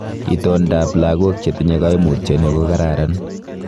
Itondab logok chetinye koimutioni kokararan.